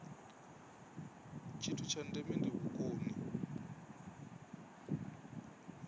tshithu tsha ndeme ndi vhukoni